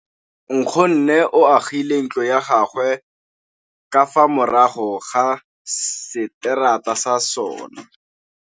Nkgonne o agile ntlo ya gagwe ka fa morago ga seterata sa rona.